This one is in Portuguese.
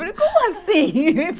Falei, como assim?